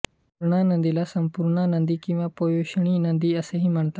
पूर्णा नदीला संपूर्णा नदी किंवा पयोष्णी नदी असेही म्हणतात